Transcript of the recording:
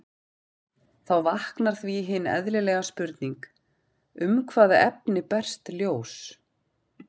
Þá vaknar því hin eðlilega spurning: Um hvaða efni berst ljós?